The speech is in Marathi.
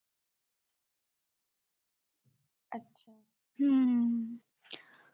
हम्म